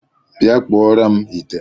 Bịa kpụọrọ m ite!